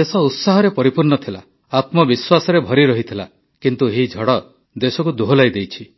ଦେଶ ଉତ୍ସାହରେ ପରିପୂର୍ଣ୍ଣ ଥିଲା ଆତ୍ମବିଶ୍ୱାସରେ ଭରି ରହିଥିଲା କିନ୍ତୁ ଏହି ଝଡ଼ ଦେଶକୁ ଦୋହଲାଇ ଦେଇଛି